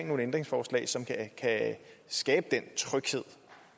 nogle ændringsforslag som kan skabe den tryghed